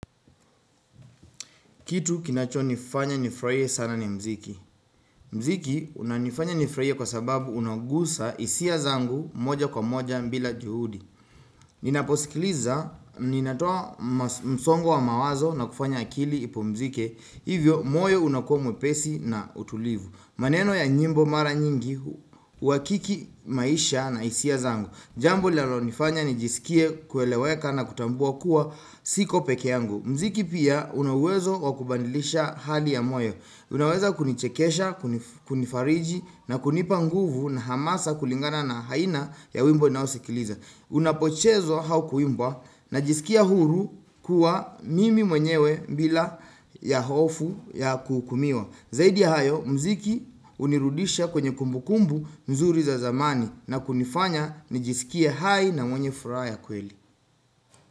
Kitu kinacho nifanya nifraie sana ni mziki Mziki unanifanya nifraie kwa sababu unagusa isia zangu moja kwa moja mbila juhudi Ninaposikiliza, ninatoa msongo wa mawazo na kufanya akili ipumzike Hivyo, moyo unakuwa mwepesi na utulivu. Maneno ya nyimbo mara nyingi, wakiki maisha na hisia zangu. Jambo linalonifanya nijisikie kueleweka na kutambua kuwa siko peke yangu. Mziki pia unawezo kwa kubadilisha hali ya moyo Unaweza kunichekesha, kunifariji na kunipa nguvu na hamasa kulingana na haina ya wimbo ninaoskiliza. Unapochezwa hau kuimbwa najisikia huru kuwa mimi mwenyewe bila ya hofu ya kuhukumiwa. Zaidi hayo mziki unirudisha kwenye kumbukumbu mzuri za zamani na kunifanya nijisikia hai na mwenye fura ya kweli.